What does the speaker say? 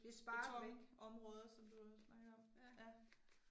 Det er sparet væk, ja